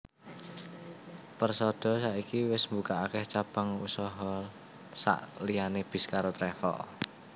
Persada saiki wis mbukak akeh cabang usaha sak liyane bis karo travel